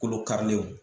Kolo karilenw